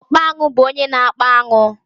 Ọkpa aṅụ bú ónyé na-akpa aṅụ.